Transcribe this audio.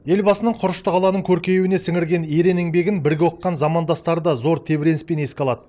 елбасының құрышты қаланың көркеюіне сіңірген ерен еңбегін бірге оқыған замандастары да зор тебіреніспен еске алады